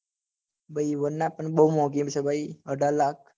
ભાઈ varna તન બહુ મોગી પડશે અઢાર લાખ